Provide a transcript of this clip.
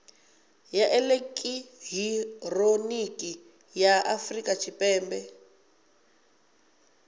ya elekihironiki ya afurika tshipembe